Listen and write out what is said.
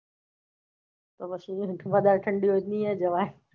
તો પછી વધારે ઠંડી હોઈ તો નઇ જવાઈ